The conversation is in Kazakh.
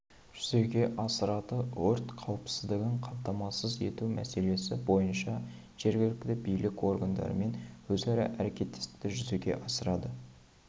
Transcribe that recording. жүзеге асырады өрт қауіпсіздігін қамтамасыз ету мәселесі бойынша жергілікті билік органдарымен өзара әрекеттестікті жүзеге асырады